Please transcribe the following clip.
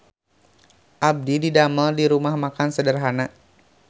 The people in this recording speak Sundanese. Abdi didamel di Rumah Makan Sederhana